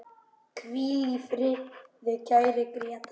Hvíl í friði, kæri Grétar.